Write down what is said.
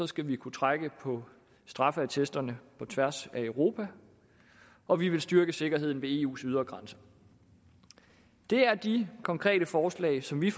skal kunne trække på straffeattesterne på tværs af europa og vi vil styrke sikkerheden ved eus ydre grænser det er de konkrete forslag som vi